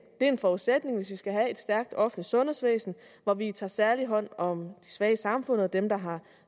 er en forudsætning hvis vi skal have et stærkt offentligt sundhedsvæsen hvor vi tager særlig hånd om de svage i samfundet dem der har